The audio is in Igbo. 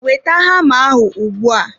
Weta hama ahụ ugbu a!